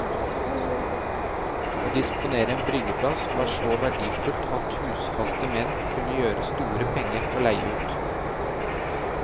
Å disponere en bryggeplass var så verdifullt at husfaste menn kunne gjøre store penger på å leie ut.